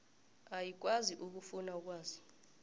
ayikwazi ukufuna ukwazi